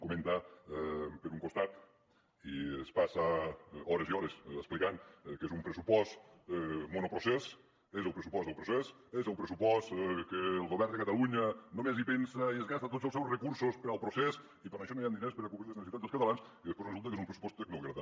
comenta per un costat i es passa hores i hores explicant que és un pressupost monoprocés que és el pressupost del procés és el pressupost que el govern de catalunya només hi pensa i es gasta tots els seus recursos per al procés i per això no hi han diners per a cobrir les necessitats dels catalans i després resulta que és un pressupost tecnòcrata